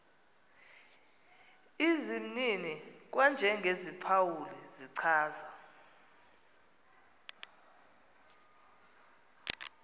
izimnini kwanjengeziphawuli zichaza